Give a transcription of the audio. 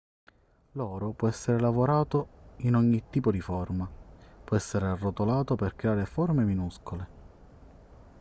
l'oro può essere lavorato in ogni tipo di forma può essere arrotolato per creare forme minuscole